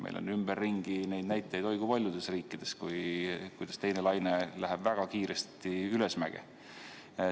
Meil on ümberringi neid näitajaid oi kui paljudes riikides, kuidas teine laine läheb väga kiiresti ülesmäge.